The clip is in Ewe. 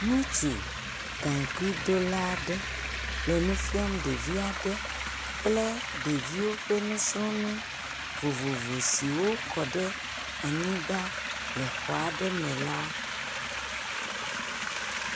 Ŋutsu gaŋkuidola aɖe le nu fiam ɖevi aɖe kple ɖeviwo kple nusrɔ̃nu vovovo si wokɔ ɖe xɔ aɖe me la.